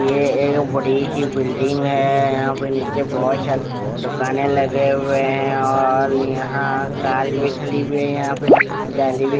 ये एक बड़ी सी बिल्डिंग है यहाँ पे नीचे बहुत सारे दुकाने लगे हुए है और यहाँ कार भी खड़ी हुई है यहाँ पे जाली भी --